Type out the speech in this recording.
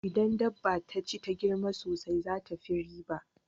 Idan dabba taci ta girma sosai tafi riba